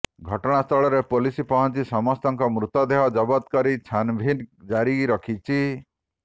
ଘଟଣାସ୍ଥଳରେ ପୋଲିସ ପହଞ୍ଚି ସମସ୍ତଙ୍କ ମୃତଦେହ ଜବତ କରି ଛାନ୍ଭିନ୍ ଜାରି ରଖିଛି